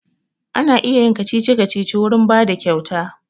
Ana iya yin kacici-kacici wurin bada kyauta